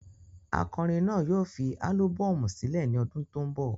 Akọrin náà yóò fi álúbọ́ọ̀mù sílẹ̀ ní ọdún tó ń bọ̀.